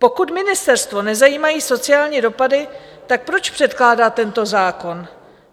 Pokud ministerstvo nezajímají sociální dopady, tak proč předkládá tento zákon?